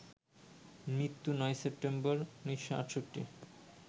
মৃত্যু ৯ সেপ্টেম্বর, ১৯৬৮